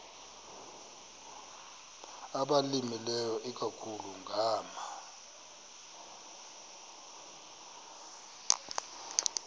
abalimileyo ikakhulu ngama